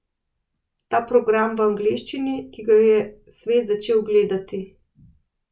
Ta program v angleščini, ki ga je svet začel gledati ...